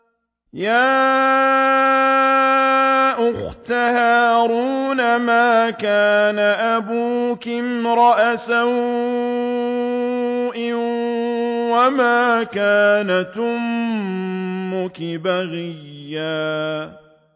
يَا أُخْتَ هَارُونَ مَا كَانَ أَبُوكِ امْرَأَ سَوْءٍ وَمَا كَانَتْ أُمُّكِ بَغِيًّا